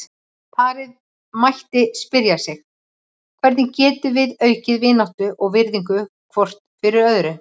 Parið mætti spyrja sig: Hvernig getum við aukið vináttu og virðingu hvort fyrir öðru?